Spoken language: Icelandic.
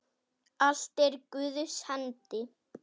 Allt er í Guðs hendi.